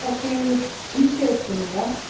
так ты естественно да